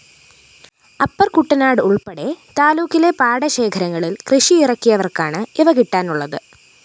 അപ്പര്‍കുട്ടനാട് ഉള്‍പ്പെടെ താലൂക്കിലെ പാടശേഖരങ്ങളില്‍ കൃഷിയിറക്കിയവര്‍ക്കാണ് ഇവ കിട്ടാനുള്ളത്